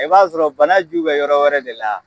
I b'a sɔrɔ banaju bɛ yɔrɔ wɛrɛ de la.